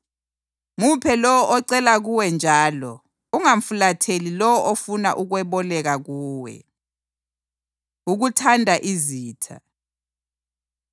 Muphe lowo ocela kuwe njalo ungamfulatheli lowo ofuna ukweboleka kuwe.” Ukuthanda Izitha